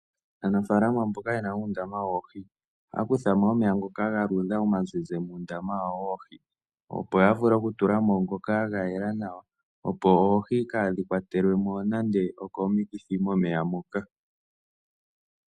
Aanafalama mboka ye na uundama woohi ohaya kutha mo omeya ngoka ga luudha omazizi muundama wawo woohi, opo ya vule okutula mo ngoka ga yela nawa, opo oohi kaadhi kwatelwe mo nando okomikithi momeya moka.